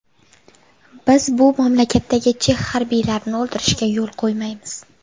Biz bu mamlakatdagi chex harbiylarini o‘ldirishga yo‘l qo‘ymaymiz.